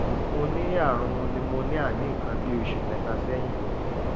mo ní àrùn pneumonia ní nǹkan bí oṣù mẹ́ta sẹ́yìn